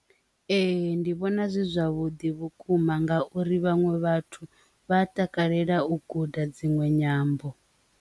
Ee, ndi vhona zwi zwavhuḓi vhukuma nga uri vhaṅwe vhathu vha takalela u guda dzinwe nyambo.